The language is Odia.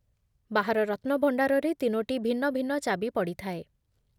ବାହାର ରତ୍ନଭଣ୍ଡାରରେ ତିନୋଟି ଭିନ୍ନ ଭିନ୍ନ ଚାବି ପଡ଼ିଥାଏ ।